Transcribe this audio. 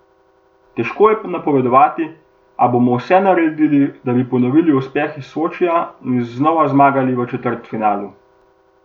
Težko je napovedati, a bomo vse naredili, da bi ponovili uspeh iz Sočija in znova igrali v četrtfinalu.